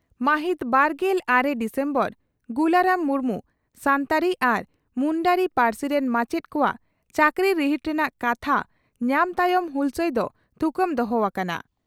ᱢᱟᱹᱦᱤᱛ ᱵᱟᱨᱜᱮᱞ ᱟᱨᱮ ᱰᱤᱥᱮᱢᱵᱚᱨ (ᱜᱩᱞᱟᱨᱟᱢ ᱢᱩᱨᱢᱩ ᱥᱟᱱᱛᱟᱲᱤ ᱟᱨ ᱢᱩᱱᱰᱟᱨᱤ ᱯᱟᱹᱨᱥᱤ ᱨᱮᱱ ᱢᱟᱪᱮᱛ ᱠᱚᱣᱟᱜ ᱪᱟᱹᱠᱨᱤ ᱨᱤᱦᱤᱴ ᱨᱮᱱᱟᱜ ᱠᱟᱛᱷᱟ ᱧᱟᱢ ᱛᱟᱭᱚᱢ ᱦᱩᱞᱥᱟᱹᱭ ᱫᱚ ᱛᱷᱩᱠᱟᱹᱢ ᱫᱚᱦᱚ ᱟᱠᱟᱱᱟ ᱾